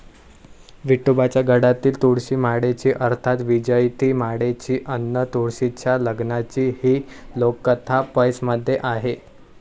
विठोबाच्या गळ्यातील तुळशीमाळेची अर्थात वैजयंतीमाळेची अन तुळशीच्या लग्नाची ही लोककथा 'पैस'मध्ये आहे.